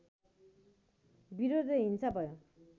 विरोध र हिंसा भयो